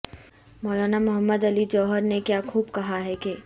مولانا محمد علی جوہر نے کیا خوب کہا ہے کہ